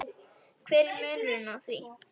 hver er munurinn á því?